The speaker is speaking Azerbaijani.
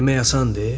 Demək asandır.